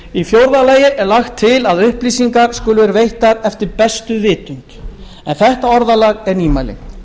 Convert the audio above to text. í fjórða lagi er lagt til að upplýsingar skuli veittar eftir bestu vitund en þetta orðalag er nýmæli